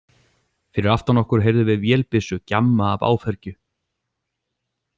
Fyrir aftan okkur heyrðum við vélbyssu gjamma af áfergju.